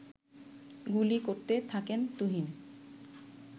গুলি করতে থাকেন তুহিন